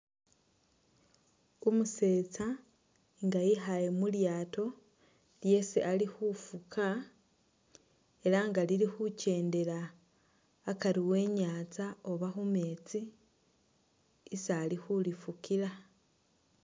Umusetsa nga wikhale mulyato lyesi Ali khufuka elah nga lilikhuchendela akari e'nyanza oba khumetsi isi Ali khulifukila